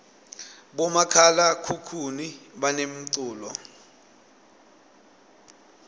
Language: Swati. bomakhalakhukhuni banemculo